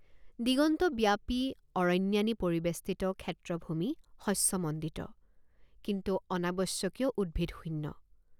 দিগন্তব্যাপী অৰণ্যানী পৰিবেষ্টিত ক্ষেত্ৰভূমি শস্যমণ্ডিত কিন্তু অনাৱশ্যকীয় উদ্ভিদশূন্য।